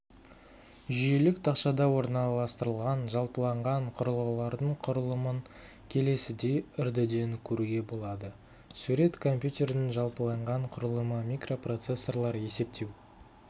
жүйелік тақшада орналастырылған жалпыланған құрылғылардың құрылымын келесідей үрдіден көруге болады сурет компьютердің жалпыланған құрылымы микропроцессорлар есептеу